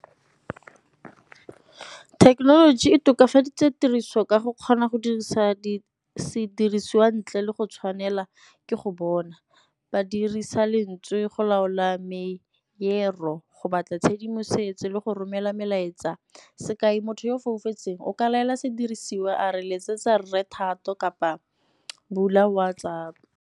Thekenoloji e tokafaditse tiriso ka go kgona go dirisa sedirisiwa ntle le go tshwanela ke go bona, ba dirisa lentswe go laola marero, go batla tshedimosetso le go romela melaetsa. Sekai, motho yo o tsofetseng o ka laela sedirisiwa a re letsetsa Rre Thato kapa bula WhatsApp.